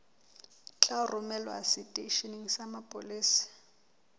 tla romelwa seteisheneng sa mapolesa